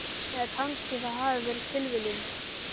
Eða kannski það hafi verið tilviljun.